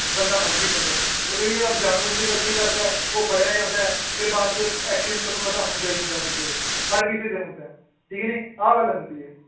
ਬੰਦਾ ਮੰਨ ਵੀ ਲੈਂਦਾ ਹੈ ਪਰ ਕਈ ਜਗ੍ਹਾ ਜਾਣ ਬੁੱਝ ਕੇ ਗ਼ਲਤੀ ਕਰਦਾ ਹੈ, ਉਹ ਫੜਿਆ ਜਾਂਦਾ ਹੈ ਫਿਰ ਬਾਅਦ 'ਚ action ਤੁਹਾਨੂੰ ਪਤਾ ਹੁੰਦਾ ਹੀ ਹੁੰਦਾ ਹੈ ਬੰਦੇ ਤੇ ਹਰ ਕਿਸੇ ਤੇ ਹੁੰਦਾ ਹੈ, ਠੀਕ ਨੀ ਆਹ ਗੱਲ ਹੁੰਦੀ ਹੈ।